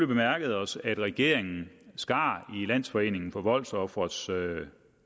bemærket os at regeringen skar i landsforeningen for voldsofres